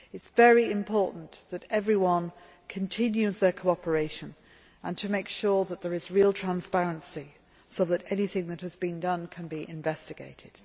It is very important that everyone continues their cooperation and makes sure that there is real transparency so that anything that has been done can be investigated.